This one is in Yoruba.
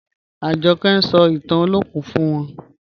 Ajọkẹ̀ ń sọ̀ ìtàn Olokun fún wà.